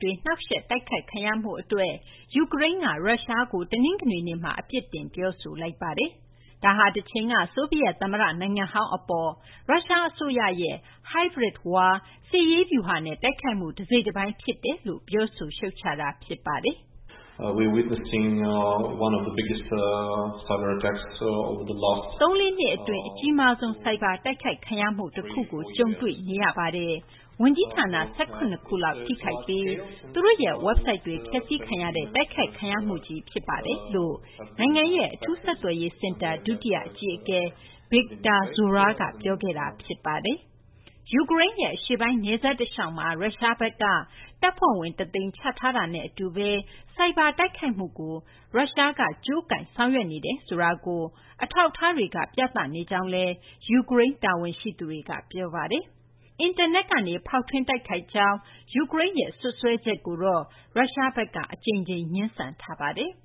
တွေ နှောင့်ယှက် တိုက်ခိုက်ခံရမှုအတွက် ယူကရိန်းက ရုရှားကို တနင်္ဂနွေနေ့မှာ အပြစ်တင် ပြောဆိုလိုက်ပါတယ်။ ဒါဟာ တချိန်က ဆိုဗီယက်သမ္မတ နိုင်ငံဟောင်း အပေါ်ကို ရုရှားအစိုးရရဲ့ Hybrid War စစ်ရေးဗျူဟာနဲ့ တိုက်ခိုက်မှု တစိတ်တပိုင်း ဖြစ်တယ်လို့ ပြောဆို ရှုတ်ချတာ ဖြစ်ပါတယ်။ “သုံးလေးနှစ်အတွင်း အကြီးမားဆုံး ဆိုက်ဘာတိုက်ခိုက်ခံရမှု တခုကို ကြုံတွေ့နေရပါတယ်။ ဝန်ကြီးဌာန ၁၇ ခုလောက် ထိခိုက်ပြီး သူတို့ရဲ့ ဝက်ဘ်ဆိုက်တွေ ဖျက်ဆီးခံရတဲ့ တိုက်ခိုက်ခံရမှုကြီး ဖြစ်ပါတယ်။” လို့ နိုင်ငံရဲ့ အထူးဆက်သွယ်ရေးစင်တာ ဒုတိယအကြီးအကဲ Viktor Zhora ပြောခဲ့တာပါ။ ယူကရိန်းရဲ့ အရှေ့ပိုင်း နယ်စပ်တလျှောက်မှာ ရုရှားဘက်က တပ်ဖွဲ့ဝင် ၁၀၀,၀၀၀ ချထားတာနဲ့ အတူပဲ ဆိုက်ဘာတိုက်ခိုက်မှုကို ရုရှားက ကြိုးကိုင် ဆောင်ရွက်နေတယ် ဆိုတာကို အထောက်အထားတွေက ပြသနေကြောင်း ယူကရိန်း တာဝန်ရှိသူတွေက ပြောပါတယ်။ အင်တာနက်ကနေ ဖောက်ထွင်း တိုက်ခိုက်ကြောင်း ယူကရိန်းရဲ့ စွပ်စွဲချက်ကိုတော့ ရုရှားဘက်က အကြိမ်ကြိမ် ငြင်းဆန်ထားပါတယ်။